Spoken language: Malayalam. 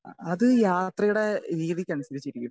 സ്പീക്കർ 2 അത് യാത്രയുടെ രീതിക്ക് അനുസരിച്ചിരിക്കും.